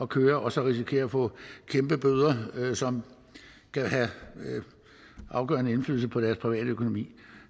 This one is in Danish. køre og så risikerer at få kæmpebøder som kan have afgørende indflydelse på deres private økonomi